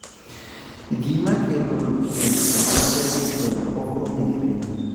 Gima kelo leukemia mar LGL ok ong'ere.